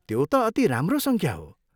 त्यो त अति राम्रो सङ्ख्या हो!